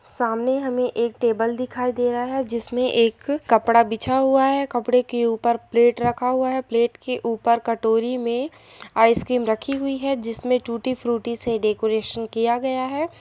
सामने हमें एक टेबल दिखाई दे रहा है। जिसमें एक कपड़ा बिछा हुआ है। कपड़े के ऊपर प्लेट रखा हुआ है। प्लेट के ऊपर कटोरी में आइसक्रीम रखी हुई है। जिसमे टूटी फ्रूटी से डेकोरेशन किया गया है।